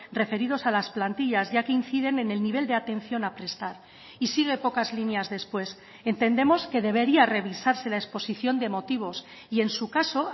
referidos a las plantillas ya que inciden en el nivel de atención a prestar y sigue pocas líneas después entendemos que debería revisarse la exposición de motivos y en su caso